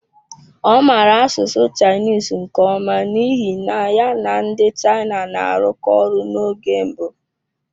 Ọ maara asụsụ Chinese nke ọma n'ihi na ya na ndị China na-arụkọ ọrụ n'oge mbụ.